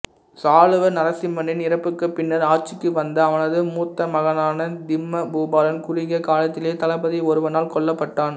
சாளுவ நரசிம்மனின் இறப்புக்குப் பின்னர் ஆட்சிக்கு வந்த அவனது மூத்தமகனான திம்ம பூபாலன் குறுகிய காலத்திலேயே தளபதி ஒருவனால் கொல்லப்பட்டான்